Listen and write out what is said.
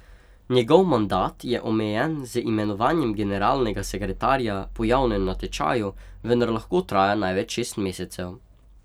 Njegov mandat je omejen z imenovanjem generalnega sekretarja po javnem natečaju, vendar lahko traja največ šest mesecev.